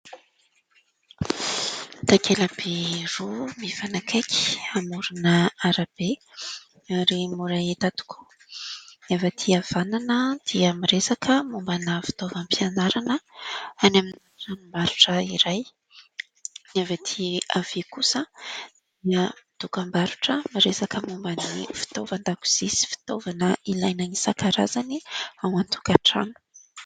Takelaby roa mifanakaiky amorona ara-be ary mora hita tokoa; ny avy aty havanana dia miresaka momba na fitaovam-pianarana any amin'ny tranom-barotra iray; ny avy aty havia kosa dia dokam-barotra miresaka momba ny fitaovan-dakozia sy fitaovana ilaina isankarazany ao an-tokatrano.